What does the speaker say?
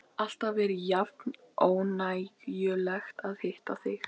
Alltaf er jafn ánægjulegt að hitta þig.